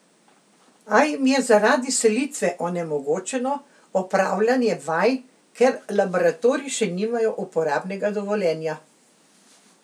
A jim je zaradi selitve onemogočeno opravljanje vaj, ker laboratoriji še nimajo uporabnega dovoljenja.